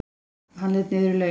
Hann leit niður í laugina.